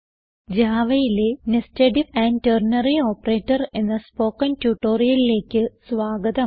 javaയിലെ nested if and ternary operator എന്ന spoken ട്യൂട്ടോറിയലിലേക്ക് സ്വാഗതം